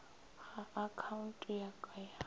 ga akhaonte ya ka ya